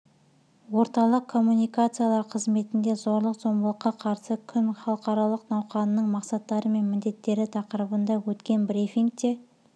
орталық коммуникациялар қызметінде зорлық зомбылыққа қарсы күн халықаралық науқанының мақсаттары мен міндеттері тақырыбында өткен брифингте